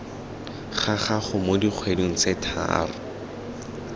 gago mo dikgweding tse tharo